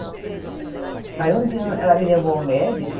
Aí um dia ela ela me levou ao médico.